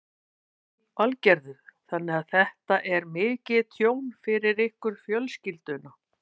Lillý Valgerður: Þannig að þetta er mikið tjón fyrir ykkur fjölskylduna?